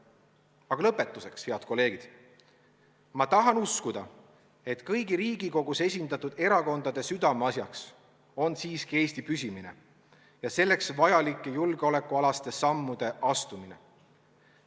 Aga lõpetuseks, head kolleegid: ma tahan uskuda, et kõigi Riigikogus esindatud erakondade südameasjaks on siiski Eesti püsimine ja selleks vajalike julgeolekualaste sammude astumine.